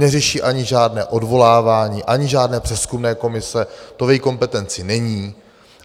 Neřeší ani žádné odvolávání, ani žádné přezkumné komise, to v její kompetenci není.